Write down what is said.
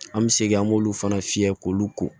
An bɛ segin an b'olu fana fiyɛ k'olu ko